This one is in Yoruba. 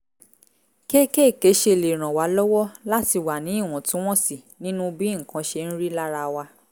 kéékèèké ṣe lè ràn wá lọ́wọ́ láti wà ní ìwọ̀ntúnwọ̀nsì nínú bí nǹkan ṣe ń rí lára wa